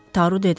Taru dedi.